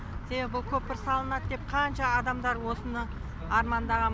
себебі көпір салынады деп қанша адамдар осыны армандаған